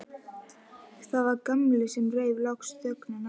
Það var Gamli sem rauf loks þögnina.